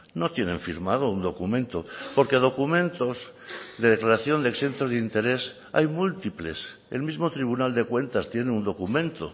no tienen firmado un documento porque documentos de declaración de exentos de interés hay múltiples el mismo tribunal de cuentas tiene un documento